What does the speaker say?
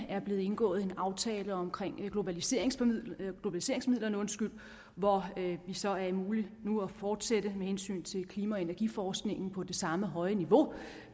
er blevet indgået en aftale om globaliseringsmidlerne hvor det så er muligt nu at fortsætte med hensyn til klima og energiforskningen på det samme høje niveau